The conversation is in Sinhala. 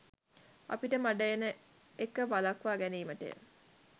අපිට මඩ එන එක වලක්වා ගැනීමටය